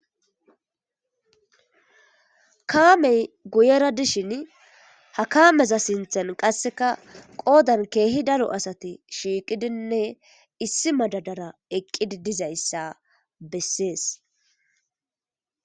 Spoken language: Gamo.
Kaamey guyera dishin ha kaameza sinthen qasseka qoodan keehi dalo asati shiiqidinne issi madadara eqqidi dizayssa bessees.